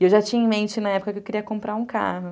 E eu já tinha em mente na época que eu queria comprar um carro.